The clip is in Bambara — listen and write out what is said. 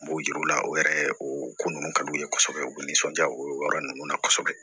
N b'o yir'u la o yɛrɛ o ko ninnu ka d'u ye kosɛbɛ u bɛ nisɔndiya o yɔrɔ ninnu na kosɛbɛ